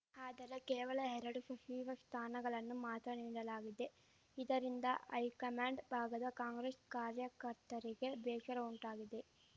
ಆದರೆ ಕೇವಲ ಎರಡು ಶಚಿವ ಸ್ಥಾನಗಳನ್ನು ಮಾತ್ರ ನೀಡಲಾಗಿದೆ ಇದರಿಂದ ಹೈಕಮಾಂಡ್ ಭಾಗದ ಕಾಂಗ್ರೆಸ್‌ ಕಾರ್ಯಕರ್ತರಿಗೆ ಬೇಶರ ಉಂಟಾಗಿದೆ